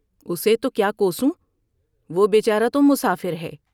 اسے تو کیا کوسوں ، وہ بے چارہ تو مسافر ہے ۔